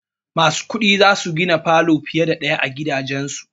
Masu kuɗi za su gina falo fiye da ɗaya a gidajansu.